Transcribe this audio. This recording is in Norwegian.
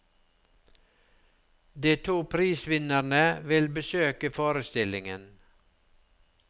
De to prisvinnerne vil besøke forestillingen.